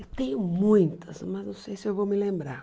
Eu tenho muitas, mas não sei se eu vou me lembrar.